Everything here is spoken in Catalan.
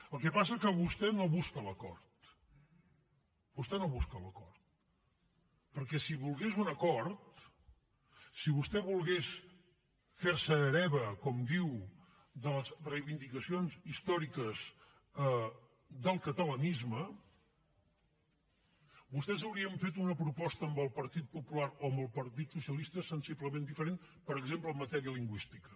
el que passa que vostè no busca l’acord vostè no busca l’acord perquè si volgués un acord si vostè volgués fer se hereva com diu de les reivindicacions històriques del catalanisme vostès haurien fet una proposta amb el partit popular o amb el partit socialista sensiblement diferent per exemple en matèria lingüística